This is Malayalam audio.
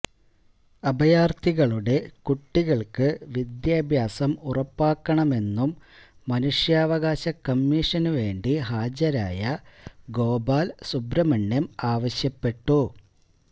അഭയാര്ത്ഥികളുടെ കുട്ടികള്ക്ക് വിദ്യാഭ്യാസം ഉറപ്പാക്കണമെന്നും മനഷ്യാവകാശ കമ്മീഷന് വേണ്ടി ഹാജരായ ഗോപാല് സുബ്രമണ്യം ആവശ്യപ്പെട്ടു